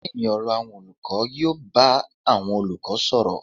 Díínì ọ̀rọ̀ àwọn olùkọ́ yóò bá àwọn olùkọ́ sọ̀rọ̀.